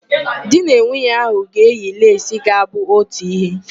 Di na nwunye ahụ ga-eyi leesi ga-abụ otu ihe.